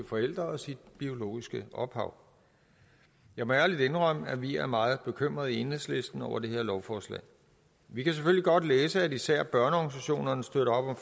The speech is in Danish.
forældre og sit biologiske ophav jeg må ærligt indrømme at vi er meget bekymrede i enhedslisten over det her lovforslag vi kan selvfølgelig godt læse at især børneorganisationerne støtter op om